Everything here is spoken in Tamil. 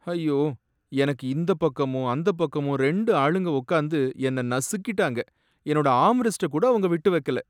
ஐயோ! எனக்கு இந்தப் பக்கமும் அந்தப் பக்கமும் ரெண்டு ஆளுங்க உக்காந்து என்ன நசுக்கிட்டாங்க, என்னோட ஆர்ம்ரெஸ்ட்ட கூட அவங்க விட்டு வக்கல